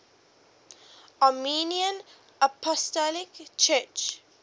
armenian apostolic church